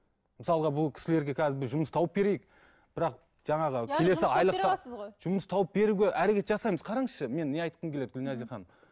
мысалға бұл кісілерге қазір жұмыс тауып берейік бірақ жаңағы жұмыс тауып беруге әрекет жасаймыз қараңызшы мен не айтқым келеді гүлназия ханым